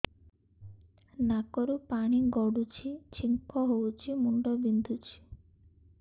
ନାକରୁ ପାଣି ଗଡୁଛି ଛିଙ୍କ ହଉଚି ମୁଣ୍ଡ ବିନ୍ଧୁଛି